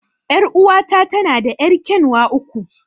Er'uwa ta tana da yar'kyanwa uku.